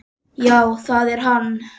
Já það er hann.